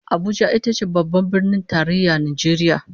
Abuja ita ce Babban Birnin Tarayyar Najeriya